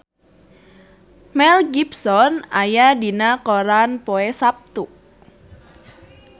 Mel Gibson aya dina koran poe Saptu